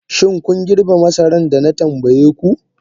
Shin kun girbe masarar da na tambaye ku?